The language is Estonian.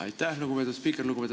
Aitäh, lugupeetud spiiker!